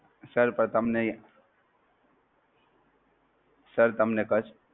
Sir પણ તમને Sir તમને cust